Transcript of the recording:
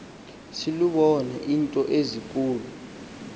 selubone iinto ezinkulu